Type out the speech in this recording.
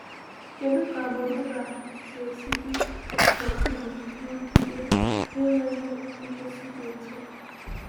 “Kedu ka agbụrụ Gad ga-esi dị n’okpuru nrụgide na-enweghị nkwụsị dị otú a?”